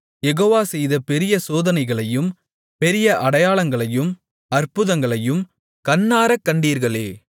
யெகோவா செய்த பெரிய சோதனைகளையும் பெரிய அடையாளங்களையும் அற்புதங்களையும் கண்ணாரக் கண்டீர்களே